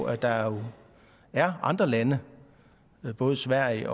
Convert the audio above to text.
at der jo er andre lande både sverige